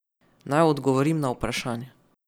Naj odgovorim na vprašanje.